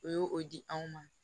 U ye o di anw ma